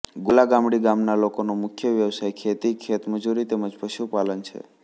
ગોલા ગામડી ગામના લોકોનો મુખ્ય વ્યવસાય ખેતી ખેતમજૂરી તેમ જ પશુપાલન છે